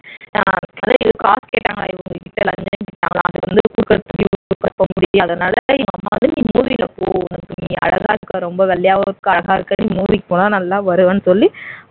காசு கேட்டாங்களாம் இவங்க கிட்ட வந்து லஞ்சம் கேட்டாங்களாம் புடிக்காத்தனால அவங்க அம்மா வந்து நீ movie ல போ நீ அழகா இருக்க ரொம்ப வெள்ளையாகவும் இருக்க அழகா இருக்க நீ movie க்கு போனா நல்லா வருவேன்னு சொல்லி